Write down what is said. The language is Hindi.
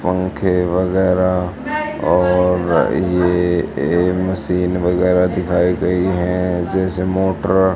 पंखे वगैरा और ये मशीन वगैरा दिखाई गई है जैसे मोटर --